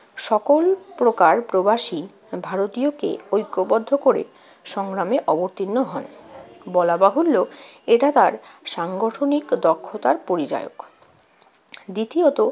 সকল প্রকার প্রবাসী ভারতীয়কে ঐক্যবদ্ধ করে সংগ্রামে অবতীর্ণ হযন। বলা বাহুল্য, এটা তার সাংগঠনিক দক্ষতার পরিচায়ক। দ্বিতীয়ত,